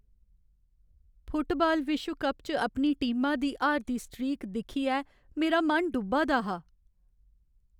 Football विश्व cup च अपनी टीमा दी हारदी स्ट्रीक दिक्खियै मेरा मन डुब्बा दा हा।